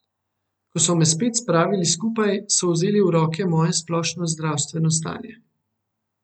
Ko so me spet spravili skupaj, so vzeli v roke moje splošno zdravstveno stanje.